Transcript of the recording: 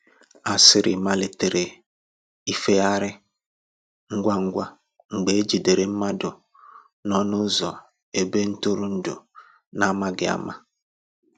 Asịrị malitere ifeyari ngwa ngwa mgbe e jidere mmadụ n’ọnụ ụzọ ebe ntụrụndụ, n’amaghị ama.